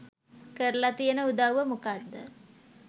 කරල තියන උදවුව මොකක්ද